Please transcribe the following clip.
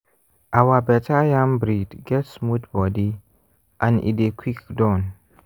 our better yam breed get smooth body and e dey quick done.